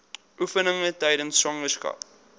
oefeninge tydens swangerskap